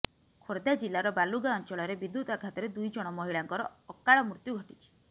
ଖୋର୍ଦ୍ଧା ଜିଲ୍ଲାର ବାଲୁଗାଁ ଅଞ୍ଚଳରେ ବିଦ୍ୟୁତ୍ ଆଘାତରେ ଦୁଇ ଜଣ ମହିଳାଙ୍କର ଅକାଳ ମୃତ୍ୟୁ ଘଟିଛି